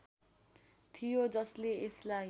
थियो जसले यसलाई